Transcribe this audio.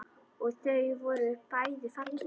Og þau voru bæði falleg.